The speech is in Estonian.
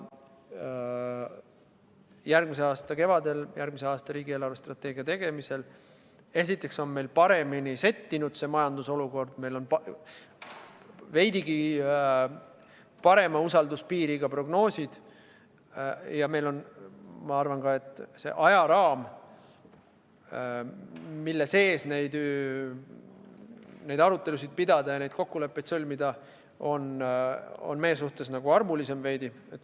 Järgmise aasta kevadel, järgmise aasta riigi eelarvestrateegia tegemisel, esiteks, on meil majanduse olukord paremini settinud, meil on veidi parema usalduspiiriga prognoosid ja ma arvan, et ka ajaraam, mille sees neid arutelusid pidada ja kokkuleppeid sõlmida, on meie suhtes veidi armulisem.